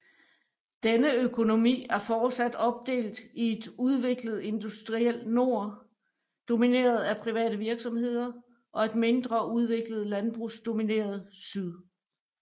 Denne økonomi er fortsat opdelt i et udviklet industriel nord domineret af private virksomheder og et mindre udviklet landbrugsdomineret syd